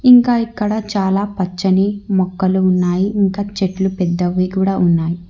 ఇంకా ఇక్కడ చాలా పచ్చని మొక్కలు ఉన్నాయి ఇంకా చెట్లు పెద్దవి కూడా ఉన్నాయి.